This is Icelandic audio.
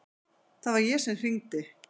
Það var ég sem hringdi.